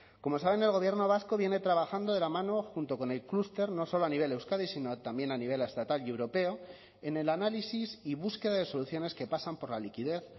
como saben el gobierno vasco viene trabajando de la mano junto con el cluster no solo a nivel de euskadi sino también a nivel estatal y europeo en el análisis y búsqueda de soluciones que pasan por la liquidez